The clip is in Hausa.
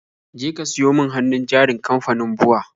Jeka ka siyo min hannun jarin kamfanin BUA